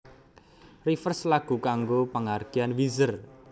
Rivers lagu kanggo panghargyaan Weezer